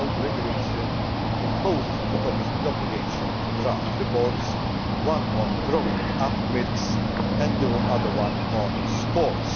As you know, the regulation imposes on the Commission the obligation to draft reports, one on growing up milks and the other on sports.